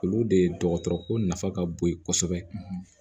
Olu de dɔgɔtɔrɔ ko nafa ka bon yen kosɛbɛ